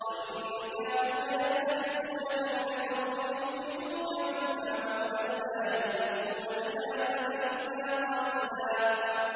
وَإِن كَادُوا لَيَسْتَفِزُّونَكَ مِنَ الْأَرْضِ لِيُخْرِجُوكَ مِنْهَا ۖ وَإِذًا لَّا يَلْبَثُونَ خِلَافَكَ إِلَّا قَلِيلًا